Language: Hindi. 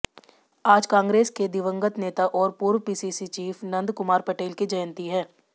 आज कांग्रेस के दिवंगत नेता और पूर्व पीसीसी चीफ नंदकुमार पटेल की जयंती है